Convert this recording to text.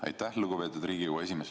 Aitäh, lugupeetud Riigikogu esimees!